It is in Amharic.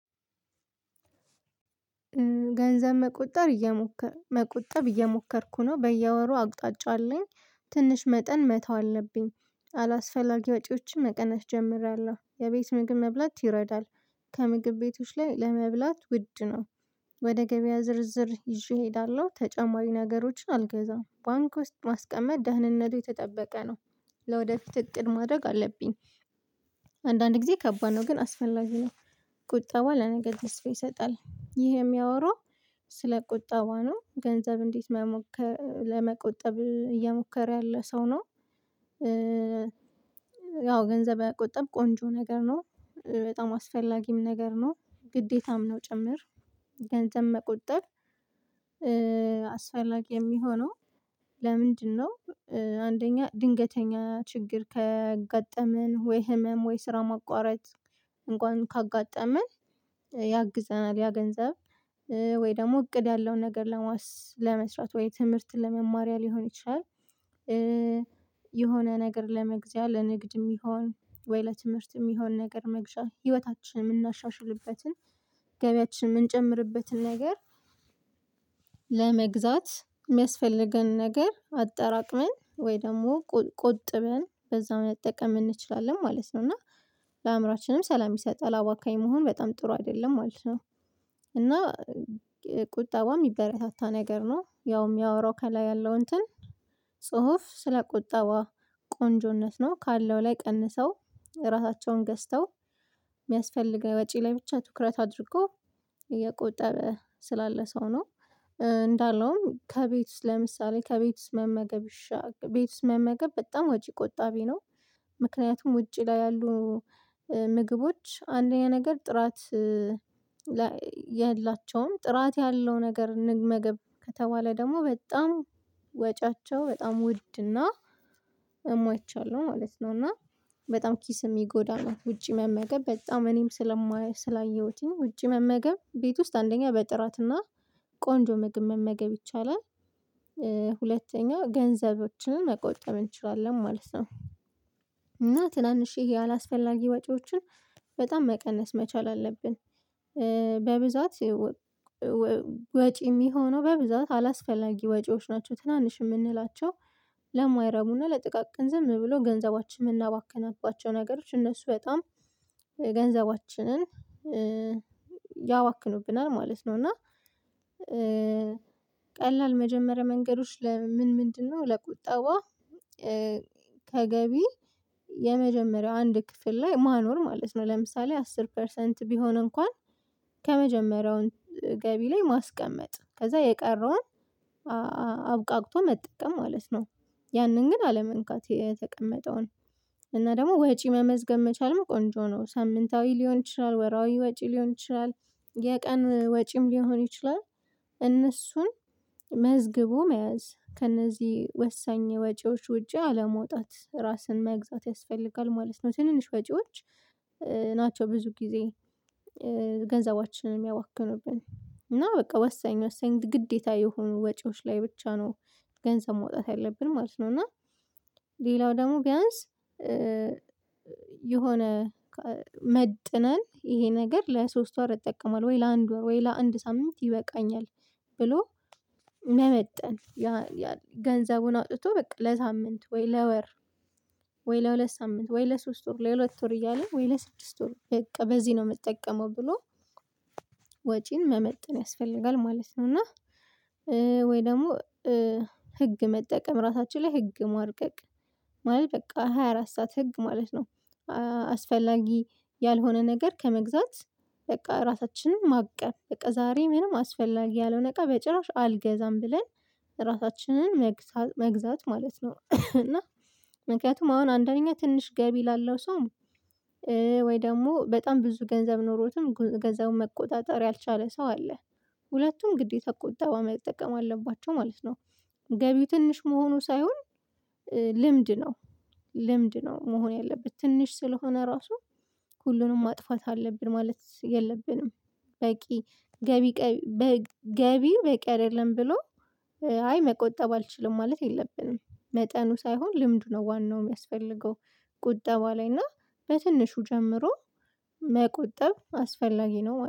ገንዘብ መቆጠር እየሞከርኩ መቆጠብ እየሞከርኩ ነው በየወሩ አቅጣጫ አለኝ ትንሽ መጠን መተው አለብኝ አላስፈላጊ ወጪዎችን መቀነስ ጀምሬያለሁ የቤት ምግብ መብላት ይረዳል። ከምግብ ቤቶች ላይ ለመብላት ውድ ነው። ወደ ገበያ ዝርዝር ይዤ እሄዳለሁ ተጨማሪ ነገሮችን አልገዛም ባንክ ውስጥ ማስቀመጥ ደህንነቱ የተጠበቀ ነው። ለወደፊት እቅድ ማድረግ አለብኝ። አንዳንድ ጊዜ ከባድ ነው ግን አስፈላጊ ነው። ቁጣ ለነገ ትስፌ ይሰጣል ይሄ የሚያወራው ስለ ቁጠባ ነው። ገንዘብ እንዴት መሞከር ለመቆጠብ እየሞከረ ያለ ሰው ነው? ያው ገንዘብ መቆጠብ ቆንጆ ነገር ነው። በጣም አስፈላጊም ነገር ነው። ግዴታም ነው ጭምር። ገንዘብ መቆጠብ? አስፈላጊ የሚሆነው ለምንድነው? አንደኛ ድንገተኛ ችግር ከገጠመን ወይ ህመም ወይ ስራ ማቋረጥ እንኳን ካጋጠመን ያግዘናል። ያ ገንዘብ ወይ ደግሞ እቅድ ያለውን ነገር ለመስራት ወይ ትምህርትን ለመማሪያ ሊሆን ይችላል። የሆነ ነገር ለመግዛት ለንግድ የሚሆን ወይ ለትምህርት የሚሆን ነገር መግዣ ህይወታችንን የምናሻሽልበትን ገበያችን የምንጨምርበትን ነገር። ለመግዛት የሚያስፈልገን ነገር አጠራቅመን ወይ ደግሞ ቁጥብን በዛ መጠቀም እንችላለን ማለት ነው። እና ለአእምሮአችንም ሰላም ይሰጣል አባካኝ መሆን በጣም ጥሩ አይደለም ማለት ነው። እና ቁጠቧ የሚበረታታ ነገር ነው። ያው የሚያወራው ከላይ ያለው እንትን ጽሁፍ ስለቆባ ቆንጆነት ነው። ካለው ላይ ቀንሰው ራሳቸውን ገዝተው የሚያስፈልገው ወጪ ለብቻ ትኩረት አድርጎ እየቆጠበ ስላለ ሰው ነው። ከቤት ውስጥ ለምሳሌ ከቤት ውስጥ መመገብ ቤት ውስጥ መመገብ በጣም ወጪ ቆጣቢ ነው። ምክንያቱም ውጪ ላይ ያሉ ምግቦች አንደኛ ነገር ጥራት የላቸውም ጥራት ያለው ነገር እንመገብ ከተባለ ደግሞ በጣም ወጪያቸው በጣም ውድ እና እማይቻል ማለት ነው። እና በጣም ኪስ የሚጎዳናት ውጪ መመገብ በጣም እኔም ስለማየሁትኝ ውጪ መመገብ ቤት ውስጥ አንደኛ በጥራትና ቆንጆ ምግብ መመገብ ይቻላል። ሁለተኛው ገንዘቦችን መቆጠብ እንችላለን ማለት ነው። ትናንሽ ያላስፈላጊ ወጪዎችን በጣም መቀነስ መቻል አለብን። በብዛት ወጪ የሚሆነው በብዛት አላስፈላጊ ወጪዎች ናቸው ትናንሽ የምንላቸው ለማይረቡና ለጥቃቅን ዝም ብሎ ገንዘባችን የምናባከናባቸው ነገሮች እነሱ በጣም ገንዘባችንን ያዋክኑብናል ማለት ነው። እና ቀላል መጀመሪያ መንገዶች ለምን ምን ምንድን ነው ለቁጠዋ? ተገቢ የመጀመሪያው አንድ ክፍል ላይ ማኖር ማለት ነው ለምሳሌ አስር ፐርሰንት ቢሆን እንኳን ገቢ ላይ ማስቀመጥ ከዛ የቀረውን አብቃቅቶ መጠቀም ማለት ነው። ያንን ግን አለመንካት የተቀመጠውን እና ደግሞ ወጪ መመዝገብ መቻል መቆንጆ ነው። ሳምንታዊ ሊሆን ይችላል ወራዊ ወጪ ሊሆን ይችላል የቀን ወጪም ሊሆን ይችላል። እነሱን መዝግቦ መያዝ ከእነዚህ ወሳኝ ወጪዎች ውጪ አለመውጣት ራስን መግዛት ያስፈልጋል ማለት ነው። ትንንሽ ወጪዎች ናቸው ብዙ ጊዜ ገንዘባችንን የሚያባክኑብን እና በቃ ወሰኝ ወሰኝ ግዴታ የሆኑ ወጪዎች ላይ ብቻ ነው። ገንዘብ መውጣት ያለብን ማለት ነው። እና ሌላው ደግሞ ቢያንስ የሆነ መጥነን ይሄ ነገር ለሶስት ወር እጠቀማለሁ ወይ ለአንድ ወር ወይ ለአንድ ሳምንት ይበቃኛል። ብሎ መመጠን ገንዘቡን አውጥቶ በቃ ለሳምንት ወይ ለወር ወይ ለሁለት ሳምንት ወይ ለሶስት ወር ለሁለት ወር እያለ ወይ ለስድስት ወር በቃ በዚህ ነው የምጠቀመው ብሎ ወጪን መመጠን ያስፈልጋል ማለት ነው። እና ወይ ደግሞ ህግ መጠቀም ራሳችን ላይ ህግ ማርቀቅ ማለት በቃ ሃያ አራት ሰዓት ህግ ማለት ነው። አስፈላጊ ያልሆነ ነገር ከመግዛት በቃ ራሳችንን ማቀብ በቃ ዛሬ ምንም አስፈላጊ ያለው ነገር በጭራሽ አልገዛም ብለን ራሳችንን መግዛት ማለት ነው። እና ምክንያቱም አሁን አንደኛ ትንሽ ገቢ ላለው ሰው ወይ ደግሞ በጣም ብዙ ገንዘብ ኖሮትም ገንዘቡን መቆጣጠር ያልቻለ ሰው አለ። ሁለቱም ግዴታ ቁጠባ መጠቀም አለባቸው ማለት ነው። ገቢ ትንሽ መሆኑ ሳይሆን ልምድ ነው። ልምድ ነው መሆን ያለበት ትንሽ ስለሆነ ራሱ ሁሉንም ማጥፋት አለብን ማለት የለብንም። በቂ ገቢ ገቢ በቂ አይደለም ብሎ አይ መቆጠብ አልችልም ማለት የለብንም። መጠኑ ሳይሆን ልምዱ ነው ዋናው የሚያስፈልገው ቁጠባ ላይ እና በትንሹ ጀምሮ መቆጠብ አስፈላጊ ነው